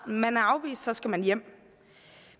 man er afvist skal man hjem